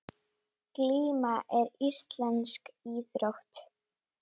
Glíma er íslensk íþrótt.